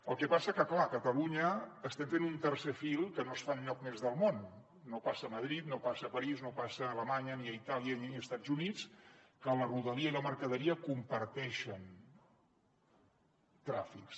el que passa que clar a catalunya estem fent un tercer fil que no es fa enlloc més del món no passa a madrid no passa a parís no passa a alemanya ni a itàlia ni a estats units que la rodalia i la mercaderia comparteixen tràfics